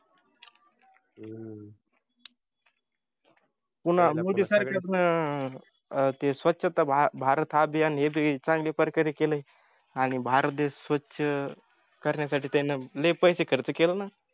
पुन्हा मोदी सरकारनं ते स्वच्छता भारत अभियान हे चांगल्या प्रकारे केलयं आणि भारत देश स्वच्छ करण्यासाठी त्यांनी लय पैसे खर्च केले ना